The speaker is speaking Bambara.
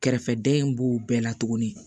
Kɛrɛfɛdɛn b'o bɛɛ la tuguni